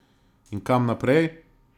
In kam naprej?